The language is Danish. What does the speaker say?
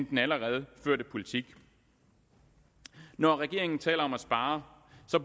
den allerede førte politik når regeringen taler om at spare